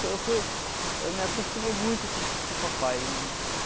Eu fui, eu fui... Eu me acostumei muito com o com o papai.